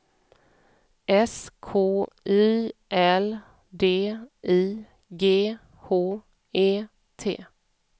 S K Y L D I G H E T